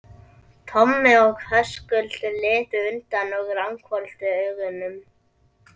Tommi og Höskuldur litu undan og ranghvolfdu augunum.